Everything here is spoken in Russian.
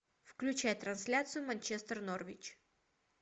включай трансляцию манчестер норвич